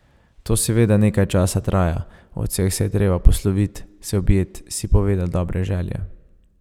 To seveda nekaj časa traja, od vseh se je treba poslovit, se objet, si povedat dobre želje.